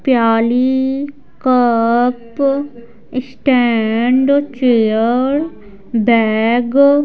प्याली cup stand chair bag --